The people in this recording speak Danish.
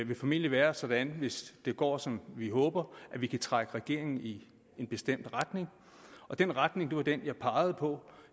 vil formentlig være sådan hvis det går som vi håber at vi kan trække regeringen i en bestemt retning og den retning var den jeg pegede på